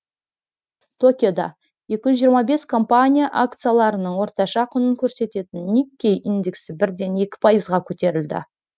токиодаекіжүз жиырма бес компания акцияларының орташа құнын көрсететін никкей индексі бірден екі пайызға көтерілді